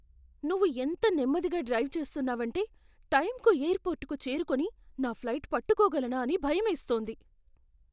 నువ్వు ఎంత నెమ్మదిగా డ్రైవ్ చేస్తున్నావంటే, టైంకు ఎయిర్పోర్ట్కు చేరుకొని, నా ఫ్లైట్ పట్టుకోగలనా అని భయమేస్తోంది.